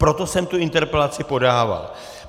Proto jsem tu interpelaci podával.